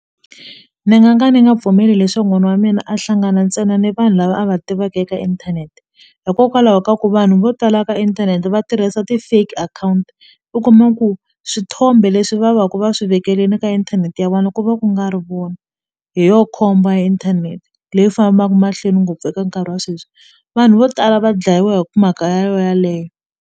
Ni nga ka ni nga pfumeli leswo n'wana wa mina a hlangana ntsena ni vanhu lava a va tivaka eka inthanete hikokwalaho ka ku vanhu vo tala ka inthanete va tirhisa ti-fake akhawunti u kuma ku swithombe leswi va va ku va swi vekelini ka inthanete ya vona ku va ku nga ri vona hi yo inthanete leyi fambaku mahlweni ngopfu eka nkarhi wa sweswi vanhu vo tala va dlayiwa hi mhaka yo yeleyo.